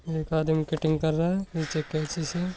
एक आदमी कटिंग कर रहा है नीचे कैंची छे।